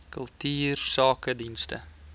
kultuursakedienste